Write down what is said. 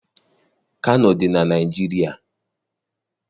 Kano dị na Naịjirịa.